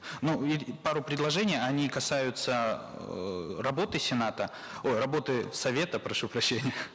ну и пару предложений они касаются эээ работы сената ой работы совета прошу прощения